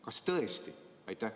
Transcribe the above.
Kas tõesti?